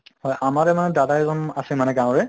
আমাৰে মানে দাদা এজন আছে মানে গাঁৱৰে